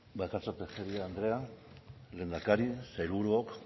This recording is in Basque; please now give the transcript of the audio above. bakartxo tejeria andrea lehendakari sailburuok